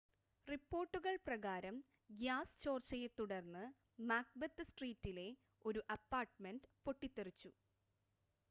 റിപ്പോർട്ടുകൾ പ്രകാരം ഗ്യാസ് ചോർച്ചയെത്തുടർന്ന് മാക്ബെത്ത് സ്ട്രീറ്റിലെ ഒരു അപ്പാർട്ട്മെൻ്റ് പൊട്ടിത്തെറിച്ചു